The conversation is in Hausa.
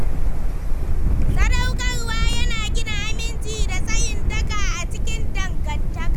Sadaukarwa yana gina aminci da tsayin daka a cikin dangantaka.